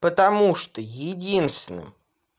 потому что единственным